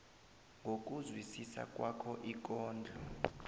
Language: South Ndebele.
ngokuzwisisa kwakho ikondlo